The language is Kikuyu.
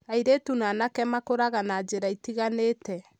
Airĩtu na anake makũraga na njĩra itiganĩte.